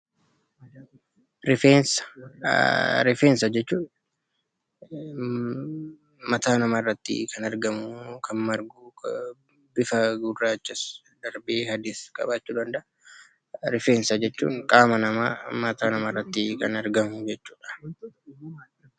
Rifeensa jechuun mataa namaa irratti kan argamu yookaan margu, bifa gurraacha darbees adii qabaachuu danda'a. Rifeensa jechuun qaama namaa mataa irratti kan argamu jechuudha.